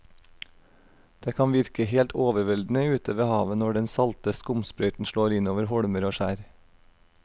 Det kan virke helt overveldende ute ved havet når den salte skumsprøyten slår innover holmer og skjær.